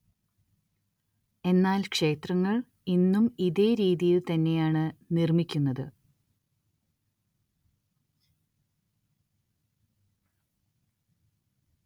എന്നാല്‍ ക്ഷേത്രങ്ങള്‍ ഇന്നും ഇതേ രീതിയില്‍ തന്നെയാണ്‌ നിര്‍മ്മിക്കുന്നത്